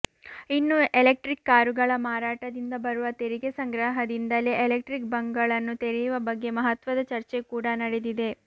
ಇನ್ನು ಎಲೆಕ್ಟ್ರಿಕ್ ಕಾರುಗಳ ಮಾರಾಟದಿಂದ ಬರುವ ತೆರಿಗೆ ಸಂಗ್ರಹದಿಂದಲೇ ಎಲೆಕ್ಟ್ರಿಕ್ ಬಂಕ್ಗಳನ್ನು ತೆರೆಯುವ ಬಗ್ಗೆ ಮಹತ್ಪದ ಚರ್ಚೆ ಕೂಡಾ ನಡೆದಿದೆ